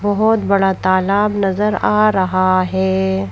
बहुत बड़ा तालाब नजर आ रहा है।